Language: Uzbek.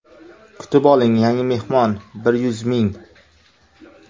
Kutib oling yangi mehmon: bir yuz ming!